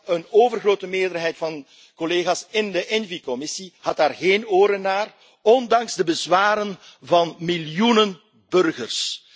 Een overgrote meerderheid van collega's in de ENVI Commissie had daar geen oren naar, ondanks de bezwaren van miljoenen burgers.